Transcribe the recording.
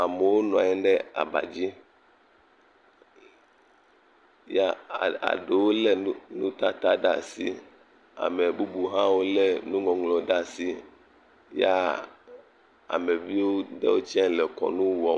Amewo nɔanyi ɖe abadzi ya ɖe wo le nutata ɖe asi amebubu ha wo le nuŋlɔŋlɔ ɖe asi ya ameviwo ɖewo tsa le kɔnu wɔm